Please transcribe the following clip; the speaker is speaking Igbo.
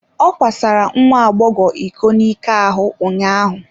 Ọ kwasara nwa agbọghọ iko n'ike ahụ ụnyaahụ.